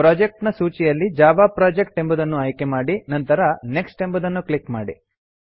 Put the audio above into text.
project ಗಳ ಸೂಚಿಯಲ್ಲಿ Java project ಎಂಬುದನ್ನು ಆಯ್ಕೆಮಾಡಿ ನಂತರ ನೆಕ್ಸ್ಟ್ ಎಂಬುದನ್ನು ಕ್ಲಿಕ್ ಮಾಡಿ